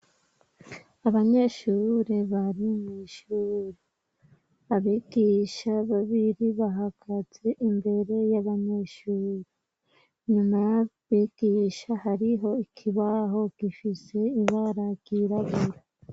Abanyeshure bari mw'ishuri. Abigisha babiri bahagaze imbere y'abanyeshuri, inyuma y'abigisha hariho ikibaho gifise ibara ryirabura.